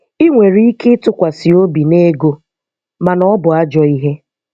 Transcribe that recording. Ị nwere ike ịtụkwasị obi n'ego, mana ọ bụ ajọ ihe.